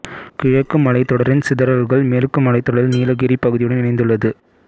கிழக்கு மலைத்தொடரின் சிதறல்கள் மேற்கு மலைத்தொடரில் நீலகிரிப் பகுதியுடன் இணைந்துள்ளது